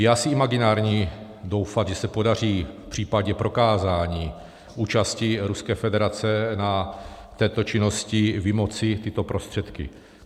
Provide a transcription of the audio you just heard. Je asi imaginární doufat, že se podaří v případě prokázání účasti Ruské federace na této činnosti vymoci tyto prostředky.